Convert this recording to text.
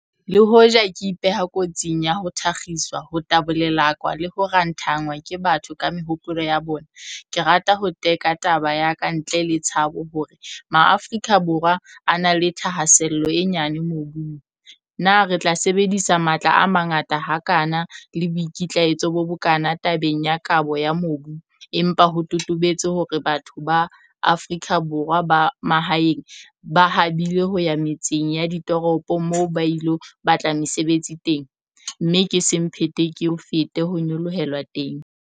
"Le hoja ke ipeha kotsing ya ho thakgiswa, ho tabolelakwa le ho ranthanngwa ke batho ka mehopolo ya bona, ke rata ho teka taba ya ka ntle le tshabo hore Maafika Borwa a na le thahasello e nyane mobung...Na re tla sebedisa matla a mangata hakana le boikitlaetso bo bokana tabeng ya kabo ya mobu empa ho totobetse hore batho ba Afrika Borwa ba mahaeng ba habile ho ya metseng ya ditoropo moo ba ilo batla mesebetsi teng, mme ke semphete-ke-o-fete ho nyolohelwa teng?"